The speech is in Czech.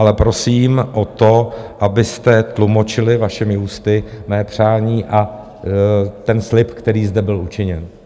Ale prosím o to, abyste tlumočili vašimi ústy mé přání a ten slib, který zde byl učiněn.